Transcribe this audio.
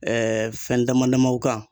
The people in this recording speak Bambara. fɛn dama damaw kan